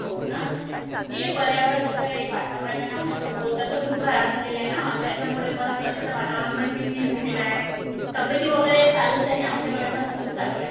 हो का? हे पर्यावरण वगैरे वातावरण आपल्या सभोवतालचं खुप खराब झालंय ना. त्याच्यामुळेपण कस आता वातावरण पण चेंज झालेलं आहे तब्बेती वगैरे चालूंच आहे. आमच्याकडे पण तसंच चालू आहे.